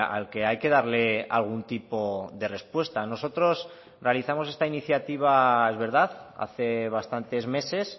al que hay que darle algún tipo de respuesta nosotros realizamos esta iniciativa es verdad hace bastantes meses